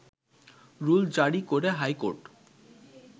rule জারি করে high court